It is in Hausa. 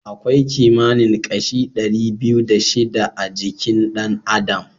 Akwai kimanin kashi ɗari biyu da shida a jikin ɗan adam.